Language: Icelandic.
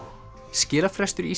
skilafrestur í